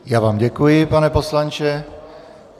Já vám děkuji, pane poslanče.